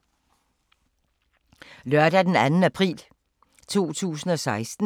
Lørdag d. 2. april 2016